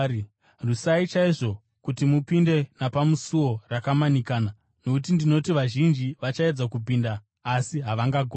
“Rwisai chaizvo kuti mupinde napasuo rakamanikana, nokuti ndinoti vazhinji vachaedza kupinda asi havangagoni.